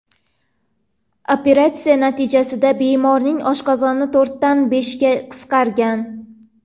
Operatsiya natijasida bemorning oshqozoni to‘rtdan beshga qisqargan.